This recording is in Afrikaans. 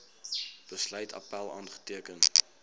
besluit appèl aanteken